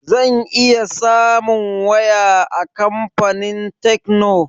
Zan iya samun waya a kamfanin tekno?